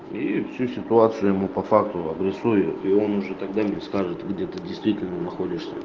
всю ситуацию ему по факту обрисую я её уже тогда мне скажет где ты действительно находишься